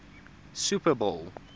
super bowl